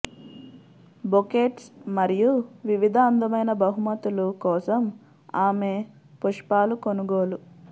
bouquets మరియు వివిధ అందమైన బహుమతులు కోసం ఆమె పుష్పాలు కొనుగోలు